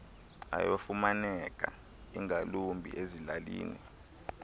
ayafumaneka ingakumbi ezilalini